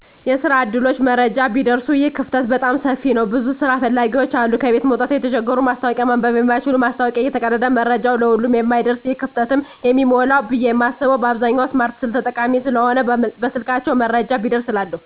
የስራ ዕድሎች መረጃ ቢደርሱ ይህ ክፍተት በጣም ሰፊ ነዉ ብዙ ስራ ፈላጊዎች አሉ ከቤት መዉጣት የተቸገሩ ማስታወቂያ ማንበብ የማይችሉ ማስታወቂያዉ እየተቀደደ መረጃዉ ለሁሉም የማይደርስበት ይህ ክፍተትም የሚሞላዉ ብየ የማስበዉ በአብዛኛዉ ስማርት ስልክ ተጠቃሚ ስለሆነ በስልካቸዉ መረጃዉ ቢደርስ እላለሁ